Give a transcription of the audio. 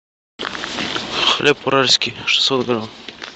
хлеб уральский шестьсот грамм